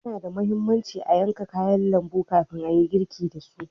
Yana da muhimmanci a yanka kayan lambu kafin ayi girki dasu.